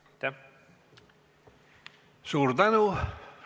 Suur tänu!